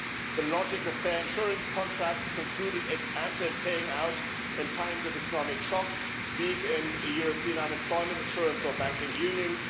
the logic of fair insurance contracts concluded ex ante and paying out in times of economic shock, big European unemployment insurance or banking union